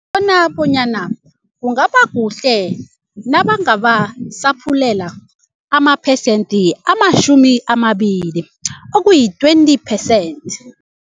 Bona bonyana kungaba kuhle nabangabasaphulela amaphesende amatjhumi amabili okuyi-twenty percent.